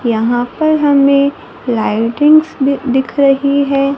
यहां पर हमें लाइटिंग्स भी दिख रही है।